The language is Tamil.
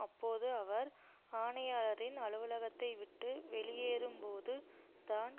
அப்போது அவர் ஆணையாளரின் அலுவலகத்தை விட்டு வெளியேறும் போது தான்